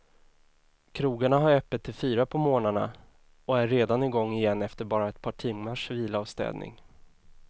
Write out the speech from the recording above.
Krogarna har öppet till fyra på morgonen och är redan igång igen efter bara ett par timmars vila och städning.